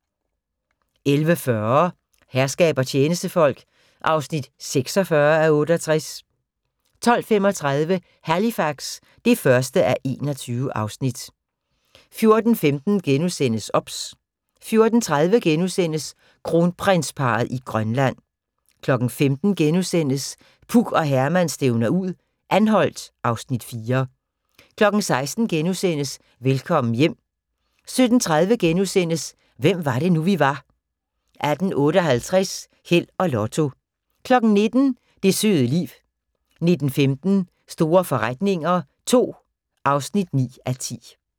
11:40: Herskab og tjenestefolk (46:68) 12:35: Halifax (1:21) 14:15: OBS * 14:30: Kronprinsparret i Grønland * 15:00: Puk og Herman stævner ud - Anholt (Afs. 4)* 16:00: Velkommen hjem * 17:30: Hvem var det nu, vi var * 18:58: Held og Lotto 19:00: Det søde liv 19:15: Store forretninger II (9:10)